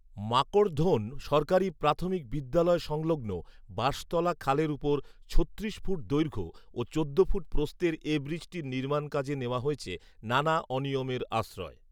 মাকড়ঢোন সরকারী প্রাথমিক বিদ্যালয় সংলগ্ন বাঁশতলা খালের ওপর ছত্রিশ ফুট দৈর্ঘ্য ও চোদ্দ ফুট প্রস্থের এ ব্রিজটির নির্মাণ কাজে নেওয়া হয়েছে নানা অনিয়মের আশ্রয়